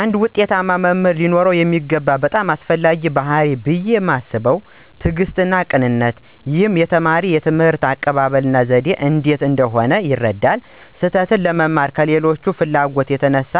አንድ ዉጤታማ መምህር ሊኖረው የሚገባው በጣም አስፈላጊው ባሕርይ ብየ ማስበው ትዕግስትና ቀናነት ነው። ይህም የተማሪ የትምህርት አቀባበል እና ዘዴ እንዴት እንደሆነ ይረዳል። ስህተትን ለመማር ካላቸው ፍላጎት የተነሳ